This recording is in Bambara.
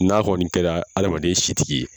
N'a kɔni kɛra adama si tigi ye